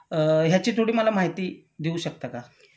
अ ह्याची थोडी मला माहिती देऊ शकता का?